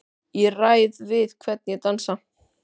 Ég ræð við hvern ég dansa,